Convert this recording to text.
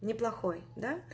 неплохой да